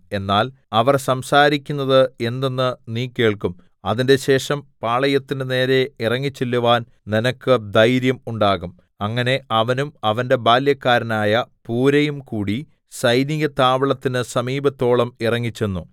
എന്നാൽ അവർ സംസാരിക്കുന്നത് എന്തെന്ന് നീ കേൾക്കും അതിന്‍റെശേഷം പാളയത്തിന്റെ നേരെ ഇറങ്ങിച്ചെല്ലുവാൻ നിനക്ക് ധൈര്യം ഉണ്ടാകും അങ്ങനെ അവനും അവന്റെ ബാല്യക്കാരനായ പൂരയും കൂടി സൈനിക താവളത്തിന് സമീപത്തോളം ഇറങ്ങിച്ചെന്നു